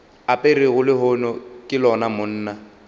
aperego lehono ke lona monna